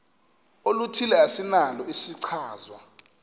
oluthile esinalo isichazwa